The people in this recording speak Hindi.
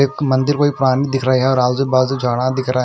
एक मंदिर कोई पुरानी दिख रही है और आज़ू-बाज़ू जाड़ा दिख रहा है।